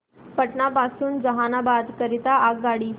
पटना पासून जहानाबाद करीता आगगाडी